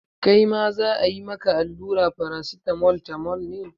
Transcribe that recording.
Kai ma za a yi maka allura Paracetamol tamol ne?